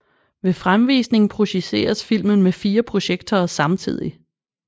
Ved fremvisning projiceres filmen med 4 projektorer samtidig